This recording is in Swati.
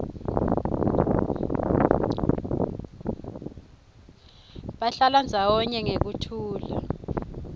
bahlala ndzawonye ngekuthula